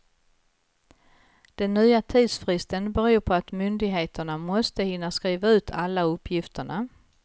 Den nya tidsfristen beror på att myndigheterna måste hinna skriva ut alla uppgifterna.